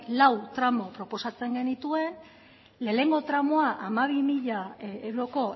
lau tramu proposatzen genituen lehenengo tramua hamabi mila euroko